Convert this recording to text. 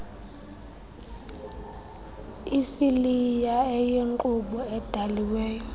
isiliya eyinkqubo edaliweyo